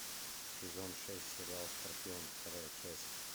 сезон шесть сериал скорпион вторая часть